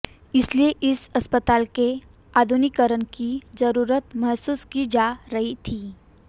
इसलिए इस अस्पताल के आधुनिकीकरण की जरूरत महसूस की जा रही थी